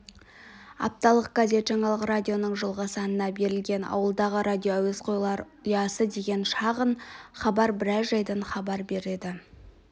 апталық газет жаңалық радионың жылғы санында берілген ауылдағы радиоәуесқойлар ұясы деген шағын хабар біраз жайдан хабар береді